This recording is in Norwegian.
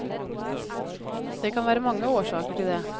Det kan være mange årsaker til det.